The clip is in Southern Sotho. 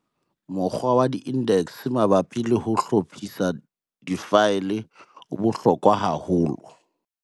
Mokgwa wa index mabapi le ho hlophisa difaele o bohlokwa haholo.